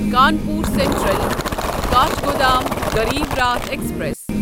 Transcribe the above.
Kanpur central Kathgodam Garib Rath express